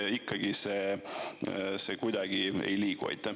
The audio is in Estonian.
Või ikkagi see kuidagi ei liigu?